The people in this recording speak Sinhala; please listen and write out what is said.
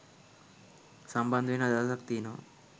සම්බන්ධ වෙන්න අදහසක් තියෙනවා